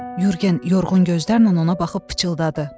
Yurgen yorğun gözlərlə ona baxıb pıçıldadı.